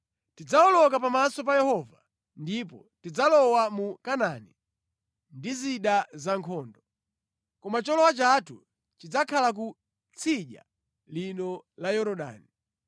Tidzawoloka pamaso pa Yehova ndipo tidzalowa mu Kanaani ndi zida zankhondo, koma cholowa chathu chidzakhala ku tsidya lino la Yorodani.”